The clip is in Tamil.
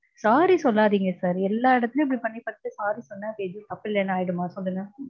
sorry சொல்லாதீங்க sir எல்லா இடத்துலையும் இப்டி பண்ணி first sorry சொன்னா எதுவும் தப்பில்லனு ஆயிடுமா சொல்லுங்க.